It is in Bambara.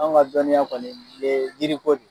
Anw ka dɔnniya kɔni ye yiriko de